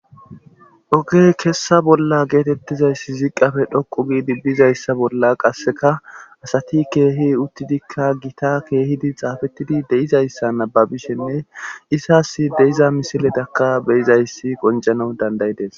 Ogey kessa bolla geetettizayssi ziqafe dhoqu giidi bizayssa bolla qasseka asati keehi uttidikka gita keehidi xaafettidi deizayssa nababishenne isas deiza misiletaka beyizayssi qonjano dandayides